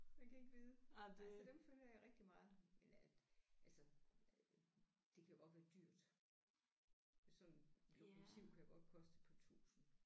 Man kan ikke vide nej så dem følger jeg rigtig meget men at altså øh det kan jo godt være dyrt sådan et lokomotiv kan godt koste et par tusind